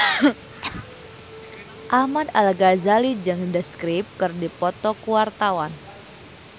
Ahmad Al-Ghazali jeung The Script keur dipoto ku wartawan